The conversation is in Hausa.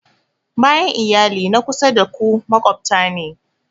Bayan iyali, na kusa da ku maƙwabta ne